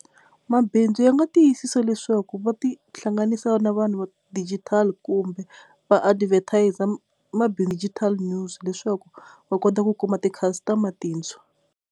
Mabindzu ya nga tiyisisa leswaku va ti hlanganisa na vanhu va digital kumbe va advertiser ma news leswaku va kota ku kuma ti-customer tindzawu.